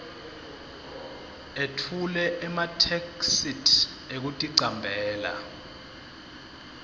etfule ematheksthi ekuticambela